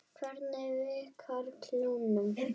Hvernig virkar klónun?